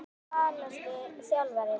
Hver er svalasti þjálfarinn?